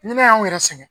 Ni ne y'anw yɛrɛ sɛgɛn